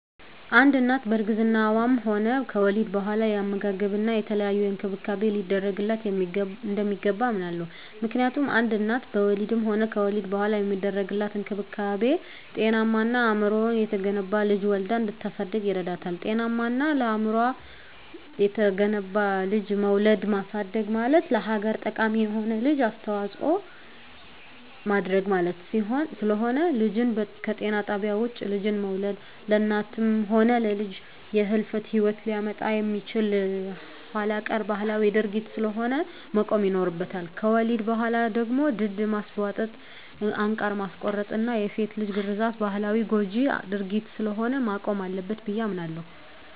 አንድ እናት በእርግዝናዋም ሆነ ከወሊድ በኋላ የአመጋገብና የተለያየ እንክብካቤ ሊደረግላት እንደሚገባ አምናለሁ። ምክንያቱም አንድ እናት በወሊድም ሆነ ከወሊድ በኋላ የሚደረግላት እንክብካቤ ጤናማና አእምሮው የተገነባ ልጅ ወልዳ እንድታሳድግ ይረዳታል። ጤናማና አእምሮው የተገነባ ልጅ መውለድና ማሳደግ ማለት ለሀገር ጠቃሚ የሆነ ልጅ አስተዋጽኦ ማድረግ ማለት ስለሆነ። ልጅን ከጤና ጣቢያ ውጭ ልጅን መውለድ ለእናትም ሆነ ለልጅ የህልፈተ ሂወት ሊያመጣ የሚችል ኋላቀር ባህላዊ ድርጊት ስለሆነ መቆም ይኖርበታል። ከወሊድ በኋላ ደግሞ ድድ ማስቧጠጥ፣ አንቃር ማስቆረጥና የሴት ልጅ ግርዛት ባህላዊና ጎጅ ድርጊት ስለሆነ መቆም አለበት ብየ አምናለሁ።